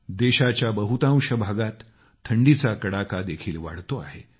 देशाच्या बहुतांश भागात थंडीचा कडाका देखील वाढतो आहे